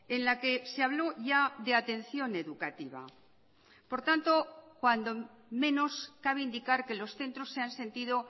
en la que se habló ya de atención educativa por tanto cuando menos cabe indicar que los centros se han sentido